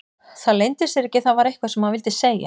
Það leyndi sér ekki að það var eitthvað sem hann vildi segja.